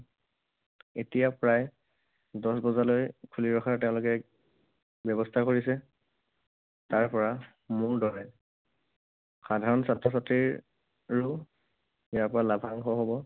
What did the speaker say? এতিয়া প্ৰায় দহ বজালৈ খুলি ৰখাৰ তেওঁলোকে ব্যৱস্থা কৰিছে। তাৰ পৰা মোৰ দৰে সাধাৰণ ছাত্ৰ ছাত্ৰীৰো ইয়াৰ পৰা লাভাংশ হব।